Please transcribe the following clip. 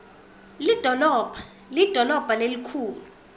lidolobha lidolobha lelikhulu